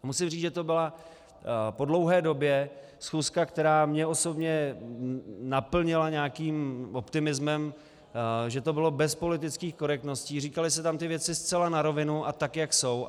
Musím říct, že to byla po dlouhé době schůzka, která mě osobně naplnila nějakým optimismem, že to bylo bez politických korektností, říkaly se tam ty věci zcela na rovinu a tak, jak jsou.